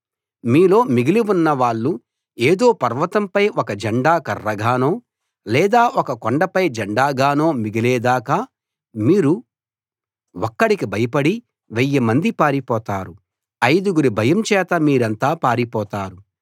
మీలో మిగిలి ఉన్న వాళ్ళు ఏదో పర్వతంపై ఒక జెండా కర్రగానో లేదా ఏదో కొండపై జెండా గానో మిగిలే దాకా మీరు ఒక్కడికి భయపడి వెయ్యి మంది పారిపోతారు ఐదుగురి భయం చేత మీరంతా పారిపోతారు